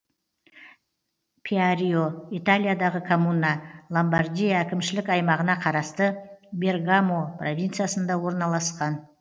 пьярио италиядағы коммуна ломбардия әкімшілік аймағына қарасты бергамо провинциясында орналасқан